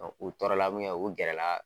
Ɔn u tɔɔrɔla mun kɛ, u gɛr la